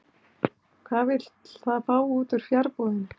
Hvað vill það fá út úr fjarbúðinni?